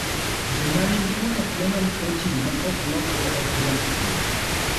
Joma nigi monoclonal protein ma ok lokre ok dwar thieth.